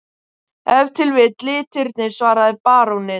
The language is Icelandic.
Ef til vill litirnir, svaraði baróninn.